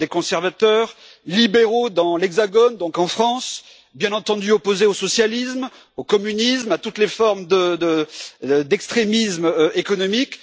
Nous sommes des conservateurs, libéraux dans l'Hexagone, donc en France, bien entendu opposés au socialisme, au communisme, à toutes les formes d'extrémisme économique.